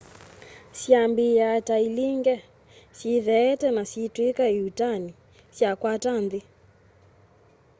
syambiia ta ilinge syitheete na syiitwika ĩuutani syakwata nthi